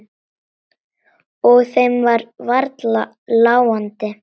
Og þeim var varla láandi.